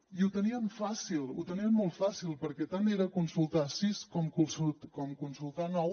i ho tenien fàcil ho tenien molt fàcil perquè tant era consultar ne sis com consultar ne nou